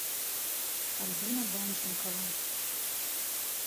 альбина данченкова